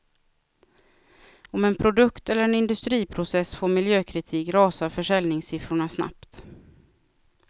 Om en produkt eller en industriprocess får miljökritik rasar försäljningssiffrorna snabbt.